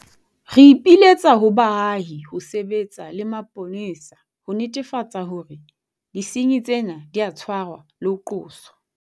Re ipiletsa ho baahi ho sebetsa le mapolesa ho netefatsa hore disenyi tsena di a tshwarwa le ho qoswa.